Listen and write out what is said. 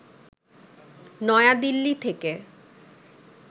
নয়াদিল্লি থেকে